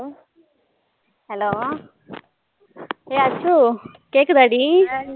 Hello ஏ அச்சு கேக்குதாடி